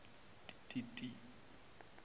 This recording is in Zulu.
ti ti ti